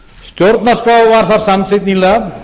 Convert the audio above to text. stjórnarskrá var þar samþykkt nýlega